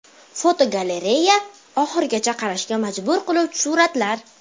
Fotogalereya: Oxirigacha qarashga majbur qiluvchi suratlar.